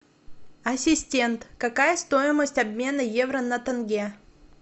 ассистент какая стоимость обмена евро на тенге